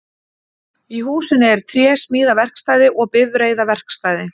Í húsinu er trésmíðaverkstæði og bifreiðaverkstæði